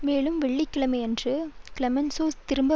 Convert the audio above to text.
மேலும் வெள்ளி கிழமையன்று கிளெமென்சோ திரும்ப